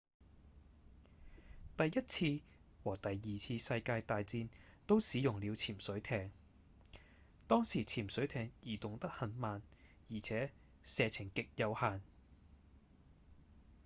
第一次和第二次世界大戰都使用了潛水艇當時潛水艇移動得很慢而且射程極有限